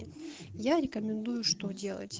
я рекомендую что делать